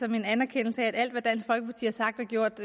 som en anerkendelse af at alt hvad dansk folkeparti har sagt og gjort